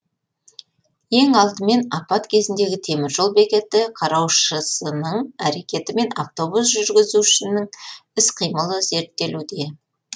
ең алдымен апат кезіндегі теміржол бекеті қараушысының әрекеті мен автобус жүргізушісінің іс қимылы зерттелуде